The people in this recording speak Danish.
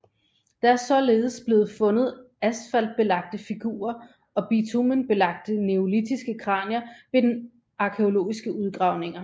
Der er således blevet fundet asfaltbelagte figurer og bitumenbelagte neolitiske kranier ved arkæologiske udgravninger